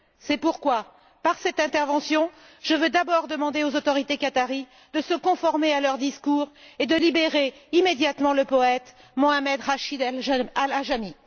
C'est pourquoi, par cette intervention, je veux tout d'abord demander aux autorités qatariennes de se conformer à leurs paroles et de libérer immédiatement le poète Mohamed Rachid al Ajami.